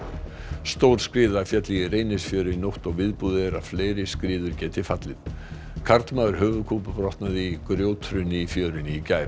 stór skriða féll í Reynisfjöru í nótt og viðbúið er að fleiri skriður geti fallið karlmaður höfuðkúpubrotnaði í grjóthruni í fjörunni í gær